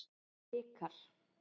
Vikar